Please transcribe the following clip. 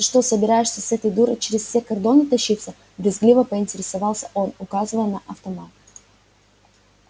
ты что собираешься с этой дурой через все кордоны тащиться брезгливо поинтересовался он указывая на автомат